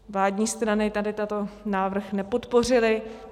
Vládní strany tady tento návrh nepodpořily.